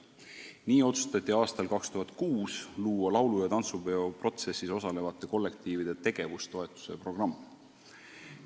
Nii otsustati aastal 2006 luua laulu- ja tantsupeo protsessis osalevate kollektiivide tegevustoetuse programm.